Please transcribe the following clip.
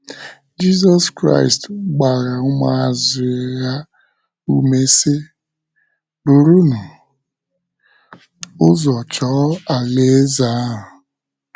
Jizọs Kraịst gbara ụmụazụ ya ume si, "burunu ụzọ chọọ alaeze ahụ".